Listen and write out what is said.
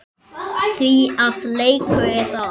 Því að leikur er það.